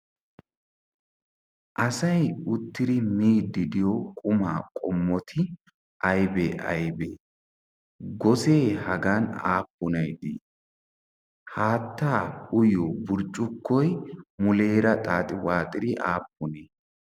Asay uttidi miidi diyo qumaa qommoti aybee aybee? gosee hagan aapunay dii? haattaa uyiyi burcukkoy aapunee?